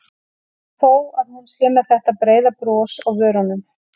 Og þó að hún sé með þetta breiða bros á vörunum.